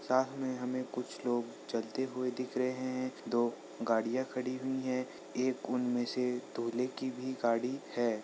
सामने हमें कुछ लोग चलते हुए दिख रहे हैं दो गाड़ियां खड़ी हुई है एक उनमें से दूल्हे की भी गाड़ी है।